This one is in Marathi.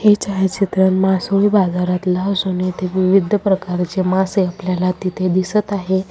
हे छायाचित्र मासोळी बाजारातलं असून इथे विविध प्रकारचे मासे आपल्याला तिथे दिसत आहे.